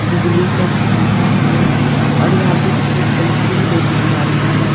बिजली का खंबा भी है और यहाँ पे सफेद कलर की भी दो तीन गाड़ियां है।